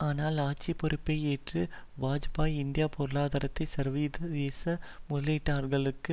ஆனால் ஆட்சி பொறுப்பை ஏற்று வாஜ்பாயி இந்திய பொருளாதாரத்தை சர்வதேச முதலீட்டாளர்களுக்கு